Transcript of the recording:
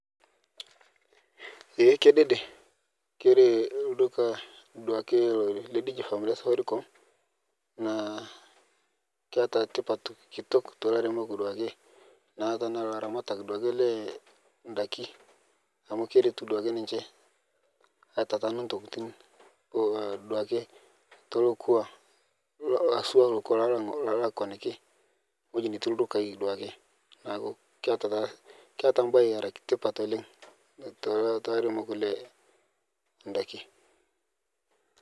Ee kedede kore lduka le DigiFarm le Safaricom naa keata tipat kitok tee lairemok duake tanaa laramatak duake lee ndaki amu keretu duake ninche aitataanu ntokitin duake too lokwa haswa lokwa loolakwaniki ng'oji neti ldukai duake. Naaku keata mbae era tipat oleng' too lairemok loo ndaki.